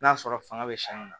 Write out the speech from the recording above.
N'a sɔrɔ fanga bɛ sɛngɛ na